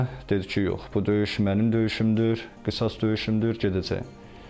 Dedi ki, yox, bu döyüş mənim döyüşümdür, qisas döyüşümdür, gedəcəyəm.